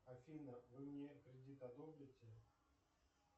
афина вы мне кредит одобрите